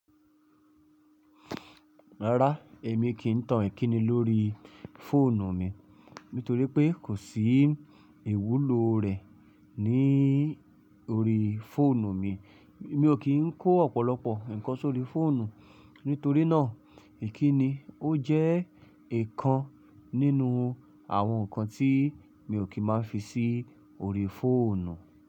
Rárá, èmi kí n tan ìkíni lórí fóònù mi nítorí pé kò sí ìwúlò rẹ̀ ní orí fóònù mi. Mi ò kí n kó ọ̀pọ̀lọpọ̀ ǹkan sórí fóònù, nítorínà ìkíni ó jẹ́ ìkan nínú àwọn nǹkan tí mi ò kí má fisí orí fóònù.